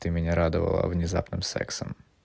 ты меня радовала внезапным сексом